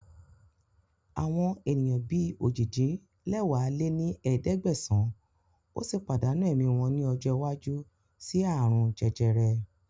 Àwọn ènìyàn bí ojì-din-lẹwá lé ní ẹ̀ẹ́dẹ́gbẹ́sán ó sì pàdánù ẹ̀mí wọn ní ọjọ́ iwájú síí aàrùn jẹjẹrẹ